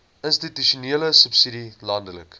institusionele subsidie landelike